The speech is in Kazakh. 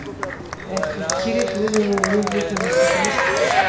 әйтеуір керек өзімнің міндетімнің осы жұмыс